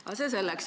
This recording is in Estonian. Aga see selleks.